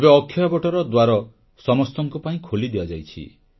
ଏବେ ଅକ୍ଷୟବଟର ଦ୍ୱାର ସମସ୍ତଙ୍କ ପାଇଁ ଖୋଲି ଦିଆଯାଇଛି